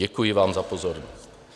Děkuji vám za pozornost.